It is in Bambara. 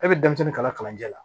E bɛ denmisɛnnin kala kalanjɛ la